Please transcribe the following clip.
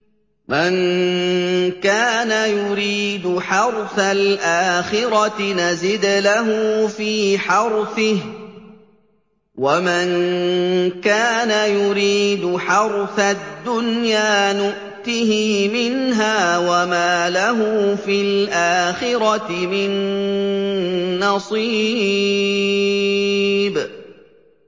مَن كَانَ يُرِيدُ حَرْثَ الْآخِرَةِ نَزِدْ لَهُ فِي حَرْثِهِ ۖ وَمَن كَانَ يُرِيدُ حَرْثَ الدُّنْيَا نُؤْتِهِ مِنْهَا وَمَا لَهُ فِي الْآخِرَةِ مِن نَّصِيبٍ